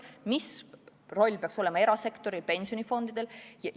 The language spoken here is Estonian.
Mis roll peaks olema erasektoril, pensionifondidel?